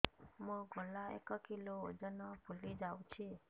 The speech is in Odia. ମୋ ଗଳା ଏକ କିଲୋ ଓଜନ ଫୁଲି ଯାଉଛି